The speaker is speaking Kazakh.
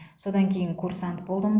содан кейін курсант болдым